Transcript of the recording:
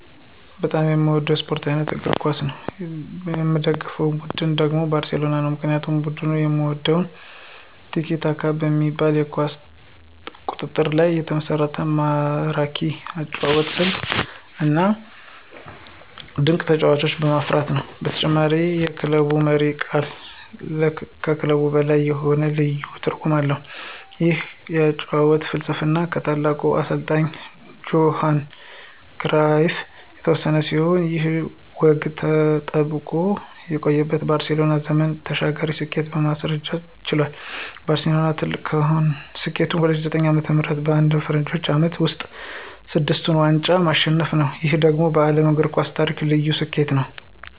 በጣም የምወደው የስፖርት አይነት እግር ኳስ ነው። የምደግፈው ቡድን ደግሞ ባርሴሎና ነው። ምክንያቱም ቡድኑን የምወደው "ቲኪ-ታካ" በሚባለው የኳስ ቁጥጥር ላይ የተመሰረተ ማራኪ የአጨዋወት ስልቱ፣ እና ድንቅ ተጫዋቾችን በማፍራቱ ነው። በተጨማሪም የክለቡ መሪ ቃል ከክለብ በላይ መሆኑ ለኔ ልዩ ትርጉም አለው። ይህ የአጨዋወት ፍልስፍና ከታላቁ አሰልጣኝ ጆሃን ክራይፍ የተወረሰ ሲሆን፣ ይህ ወግ ተጠብቆ በመቆየቱ ባርሴሎና ዘመን ተሻጋሪ ስኬትን ማስመዝገብ ችሏል። ባርሴሎና ትልቁ ስኬቱ በ2009 ዓ.ም. በአንድ የፈረንጆቹ ዓመት ውስጥ ስድስቱን ዋንጫዎች ማሸነፉ ነው። ይህ ደግሞ በዓለም የእግር ኳስ ታሪክ ልዩ ስኬት ነው።